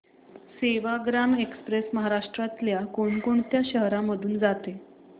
Sevagram express महाराष्ट्रातल्या कोण कोणत्या शहरांमधून जाते